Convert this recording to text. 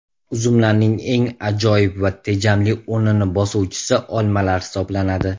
Uzumlarning eng ajoyib va tejamli o‘rnini bosuvchisi olmalar hisoblanadi.